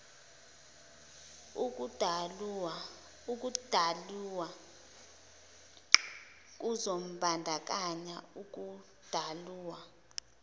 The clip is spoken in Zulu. ukudalulwa kuzombandakanya ukudalulwa